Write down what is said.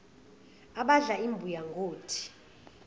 abadla imbuya ngothi